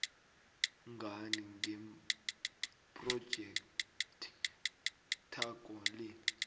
ngani ngephrojekthakho le